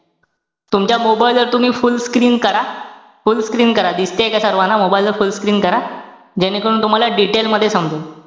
तुमच्या mobile वर तुम्ही fullscreen करा. Fullscreen करा. दिसतेय का सर्वाना mobile वर fullscreen करा. जेणेकरून तुम्हाला detail मध्ये समजेल.